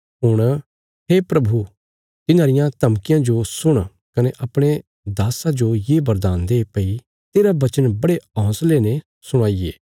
हुण हे प्रभु तिन्हांरियां धमकियां जो सुण कने अपणे दास्सा जो ये वरदान दे भई तेरा वचन बड़े हौंसले ने सुणाईये